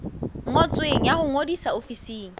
ngotsweng ya ho ngodisa ofising